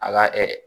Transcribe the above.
A ka